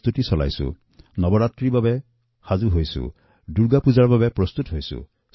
ইয়াক দীপাৱলী নৱৰাত্ৰী অথবা দুৰ্গাপূজাৰ প্ৰস্তুতু বুলি ধৰি লওঁক